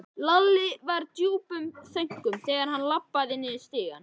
Lalli var í djúpum þönkum þegar hann labbaði niður stigann.